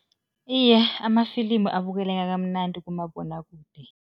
Iye, amafilimu abukeleka kamnandi kumabonwakude.